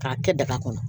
K'a kɛ daga kɔnɔ